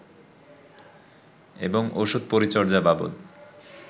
এবং ওষুধ-পরিচর্যা বাবদ